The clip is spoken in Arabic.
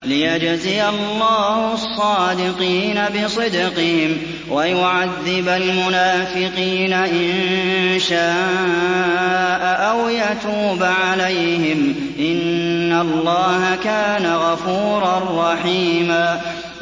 لِّيَجْزِيَ اللَّهُ الصَّادِقِينَ بِصِدْقِهِمْ وَيُعَذِّبَ الْمُنَافِقِينَ إِن شَاءَ أَوْ يَتُوبَ عَلَيْهِمْ ۚ إِنَّ اللَّهَ كَانَ غَفُورًا رَّحِيمًا